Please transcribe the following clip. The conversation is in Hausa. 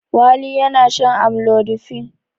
Wali yana shan amlodipine.